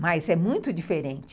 Mas é muito diferente.